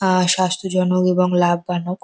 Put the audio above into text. আহ স্বাস্থ্য জনক এবং লাভ বানক।